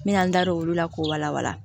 N bɛna n da don olu la k'o wala wala